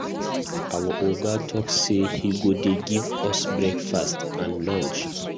Our Oga talk say he go dey give us breakfast and lunch.